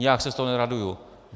Nijak se z toho neraduju.